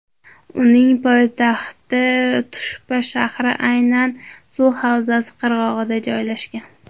Uning poytaxti Tushpa shahri aynan suv havzasi qirg‘og‘ida joylashgan.